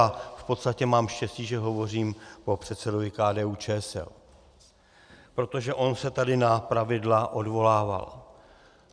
A v podstatě mám štěstí, že hovořím po předsedovi KDU-ČSL, protože on se tady na pravidla odvolával.